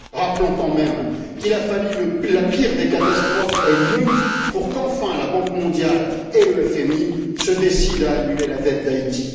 Rappelons quand même qu'il a fallu que la pire des catastrophes ait lieu pour qu'enfin la Banque mondiale et le FMI se décident à annuler la dette d'Haïti.